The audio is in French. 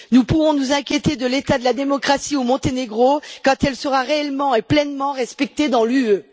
Nous pourrons nous inquiéter de l'état de la démocratie au Monténégro quand elle sera réellement et pleinement respectée dans l'Union.